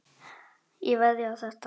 Ég veðjaði á þetta.